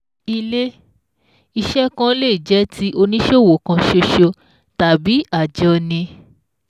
Ilé-iṣẹ̀ kan lè jẹ́ ti oníṣòwò kan ṣoṣo tàbí àjọni